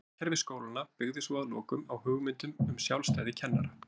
Stjórnkerfi skólanna byggði svo að lokum á hugmyndum um sjálfstæði kennara.